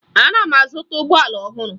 Ana m azụta ụgbọala ọhụrụ